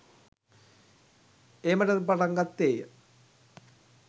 ඒමටද පටන් ගත්තේය.